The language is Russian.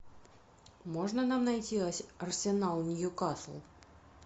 можно нам найти арсенал ньюкасл